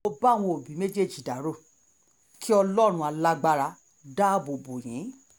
mo bá àwọn òbí méjèèjì dárò kí ọlọ́run alágbára dáàbò bò yín